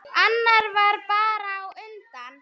Annar varð bara á undan.